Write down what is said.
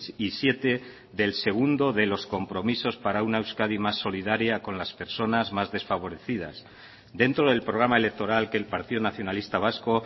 y siete del segundo de los compromisos para una euskadi más solidaria con las personas más desfavorecidas dentro del programa electoral que el partido nacionalista vasco